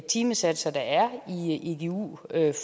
timesatser der er i igu